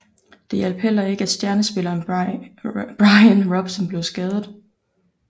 Det hjalp heller ikke at stjernespilleren Bryan Robson blev skadet